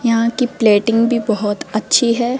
यहां की प्लेटिंग भी बहोत अच्छी है।